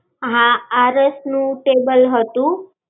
હા. આરસ ના table હતું